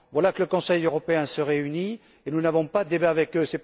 Voilà que le Conseil européen se réunit et nous n'avons pas de débat avec eux.